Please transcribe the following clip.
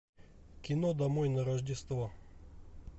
кино домой на рождество